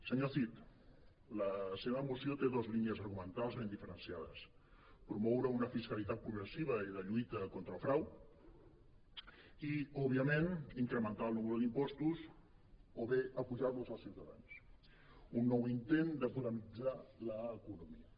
senyor cid la seva moció té dos línies argumentals ben diferenciades promoure una fiscali·tat progressiva i de lluita contra el frau i òbviament incrementar el número d’impos·tos o bé apujar·los als ciutadans un nou intent de podemitzar l’economia